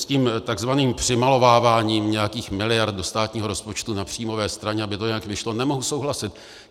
S tím takzvaným přimalováváním nějakých miliard do státního rozpočtu na příjmové straně, aby to nějak vyšlo, nemohu souhlasit.